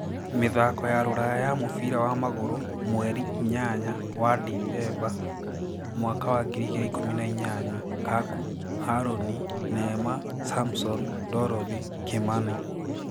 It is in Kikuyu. Mĩthako ya Rũraya ya mũbira wa magũrũ 08.12.2018: Kaku, Haroni, Neema, samson, Dorothi, Kimani